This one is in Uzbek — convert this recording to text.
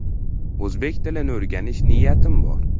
O‘zbek tilini o‘rganish niyatim bor.